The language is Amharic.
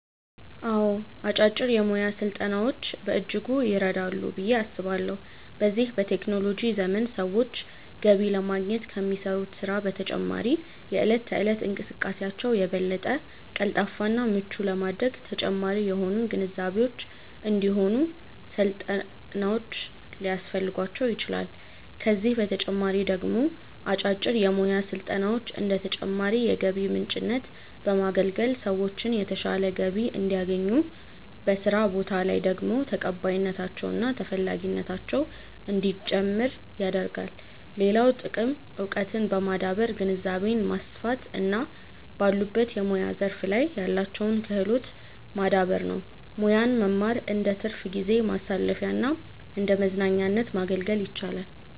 አዎ አጫጭር የሙያ ስልጠናዎች በእጅጉ ይረዳሉ ብዬ አስባለሁ። በዚህ በቴክኖሎጂ ዘመን ሰዎች ገቢ ለማግኘት ከሚሰሩት ስራ በተጨማሪ የእለት ተእለት እንቅስቃሴያቸውን የበለጠ ቀልጣፋ እና ምቹ ለማድረግ ተጨማሪ የሆኑ ግንዛቤዎች እንዲሁም ስልጠናዎች ሊያስፈልጓቸው ይችላል፤ ከዚህ በተጨማሪ ደግሞ አጫጭር የሙያ ስልጠናዎች እንደ ተጨማሪ የገቢ ምንጭነት በማገልገል ሰዎችን የተሻለ ገቢ እንዲያገኙ፤ በስራ ቦታ ላይ ደግሞ ተቀባይነታቸው እና ተፈላጊነታቸው እንዲጨምር ያደርጋል። ሌላው ጥቅም እውቀትን በማዳበር ግንዛቤን ማስፋት እና ባሉበት የሙያ ዘርፍ ላይ ያላቸውን ክህሎት ማዳበር ነው። ሙያን መማር እንደትርፍ ጊዜ ማሳለፊያና እንደመዝናኛነት ማገልገል ይችላል።